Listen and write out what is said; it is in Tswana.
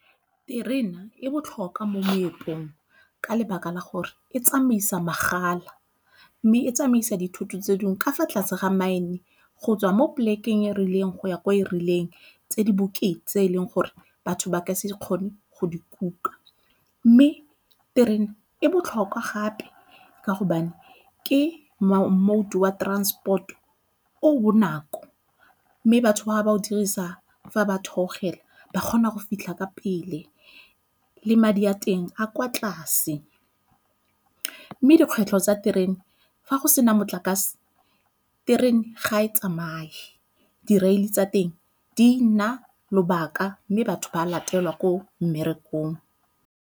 Terena e botlhokwa mo moepong ka lebaka la gore e tsamaisa magala mme e tsamaisa dithoto tse dingwe ka fa tlase ga mine go tswa mo polekeng e rileng go ya ko e rileng tse di bokete tse e leng gore batho ba ka se kgone go di kuka. Mme terene e botlhokwa gape ka gobane ke mode wa transport o o bonako mme batho ba ba o dirisa fa ba theogela ba kgona go fitlha ka pele le madi a teng a kwa tlase. Mme dikgwetlho tsa terene, fa go sena motlakase terene ga e tsamaye di-rail-e tsa teng di nna lobaka mme batho ba latela ko mmerekong.